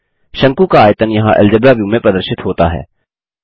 शंकु का आयतन यहाँ अलजेब्रा व्यू में प्रदर्शित होता है